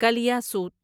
کلیاسوت